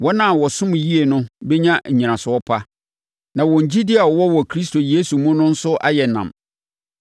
Wɔn a wɔsom yie no bɛnya nnyinaso pa, na wɔn gyidie a wɔwɔ wɔ Kristo Yesu mu no nso ayɛ nam.